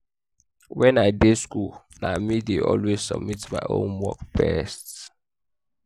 wen i dey school na me dey always submit my homework first